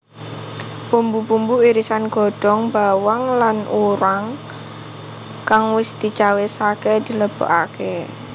Bumbu bumbu irisan godhong bawang lan urang kang wis dicawisake dilebokake